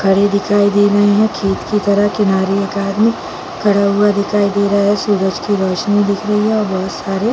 खड़े दिखाई दे रहे है खेत की तरह किनारे एक आदमी खड़ा हुआ दिखाई दे रहा हैं सूरज की रोशनी दिख रही और बहुत सारे--